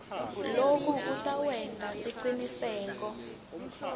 loku kutawenta siciniseko